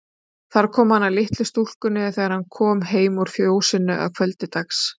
Þar kom hann að litlu stúlkunni þegar hann kom heim úr fjósinu að kvöldi dags.